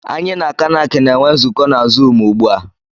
Anyị na Kanac na-enwe nzukọ na zụụmu ugbu a.